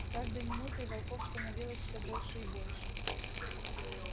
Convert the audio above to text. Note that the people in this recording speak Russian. с каждой минутой волков становилось всё больше и больше